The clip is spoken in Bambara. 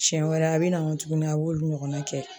Siɲɛ wɛrɛ a binago tuguni a b'olu ɲɔgɔnna kɛ